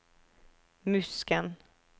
Musken